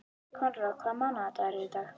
Konráð, hvaða mánaðardagur er í dag?